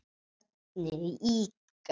Börnin líka.